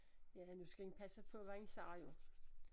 Ja nu skal en passe på hvad en siger jo